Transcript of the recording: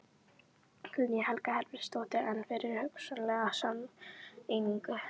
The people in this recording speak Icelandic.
Guðný Helga Herbertsdóttir: En fyrir hugsanlega sameiningu?